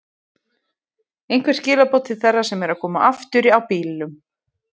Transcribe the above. Einhver skilaboð til þeirra sem eru að koma aftur á bílum?